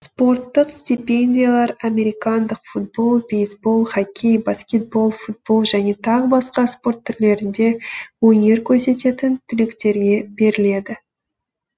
спорттық стипендиялар американдық футбол бейсбол хоккей баскетбол футбол және тағы басқа спорт түрлерінде өнер көрсететін түлектерге беріледі